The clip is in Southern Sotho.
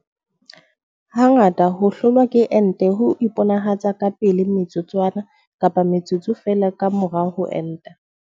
Ha ngata ho hlolwa ke ente ho iponahatsa ka pele metsotswana kapa metsotso feela ka mora ho enta.